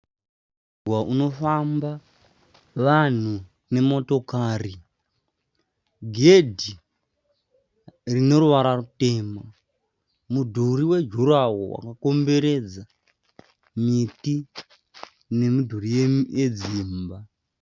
Mugwagwa unofamba vanhu nemotokari, gedhi rine ruwara rutema. Mudhuri wejuraworo wakakomberedza miti nemidhuri yedzimba.